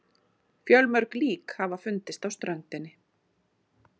Fjölmörg lík hafa fundist á ströndinni